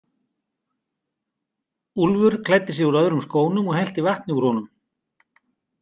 Úlfur klæddi sig úr öðrum skónum og hellti vatni úr honum.